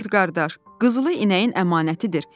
“Qurd qardaş, qızılı inəyin əmanətidir.